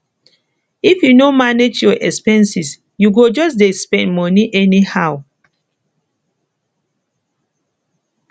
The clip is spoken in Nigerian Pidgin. if you no manage your expenses you go just dey spend moni anyhow